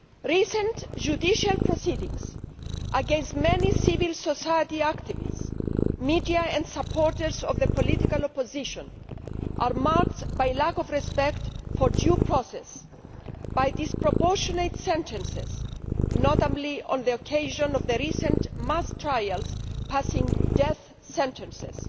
Recent judicial proceedings against many civil society activists, media and supporters of the political opposition have been marked by a lack of respect for due process and by disproportionate sentences, notably on the occasion of the recent mass trials passing death sentences.